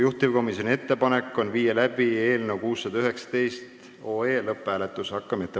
Juhtivkomisjoni ettepanek on panna eelnõu 619 lõpphääletusele.